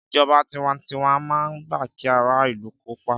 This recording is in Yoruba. Ìjọba tiwantiwa máa ń gbà kí ara ìlù kópa.